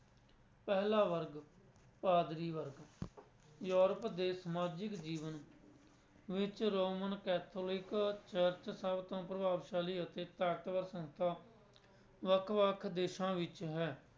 ਪਹਿਲਾ ਵਰਗ, ਪਾਧਰੀ ਵਰਗ ਯੂਰਪ ਦੇ ਸਮਾਜਿਕ ਜੀਵਨ ਵਿੱਚ ਰੋਮਨ ਕੈਥੋਲਿਕ ਚਰਚ ਸਭ ਤੋਂ ਪ੍ਰਭਾਵਸ਼ਾਲੀ ਅਤੇ ਤਾਕਤਵਰ ਸੰਸਥਾ ਵੱਖ ਵੱਖ ਦੇਸਾਂ ਵਿੱਚ ਹੈ।